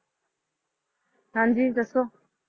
ਹਾਂਜੀ ਦਸੋਂ